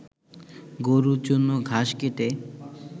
গরুর জন্য ঘাস কেটে